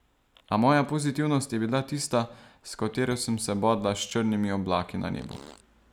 A moja pozitivnost je bila tista, s katero sem se bodla s črnimi oblaki na nebu.